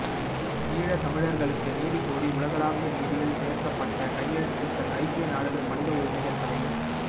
ஈழத் தமிழர்களுக்கு நீதி கோரி உலகளாவிய நீதியில் சேர்க்கப்பட்ட கையெழுத்துக்கள் ஐக்கிய நாடுகள் மனித உரிமைகள் சபையில்